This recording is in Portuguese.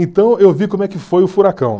Então, eu vi como é que foi o furacão.